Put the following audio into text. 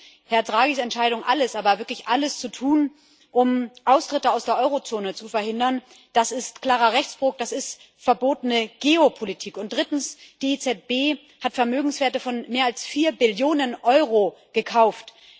Zweitens Herrn Draghis Entscheidung, alles, aber wirklich alles zu tun, um Austritte aus der Eurozone zu verhindern, ist ein klarer Rechtsbruch, das ist verbotene Geopolitik. Drittens Die EZB hat Vermögenswerte von mehr als vier Billionen Euro gekauft.